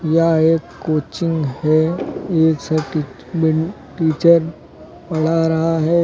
यह एक कोचिंग है एक टीचर पढ़ा रहा है।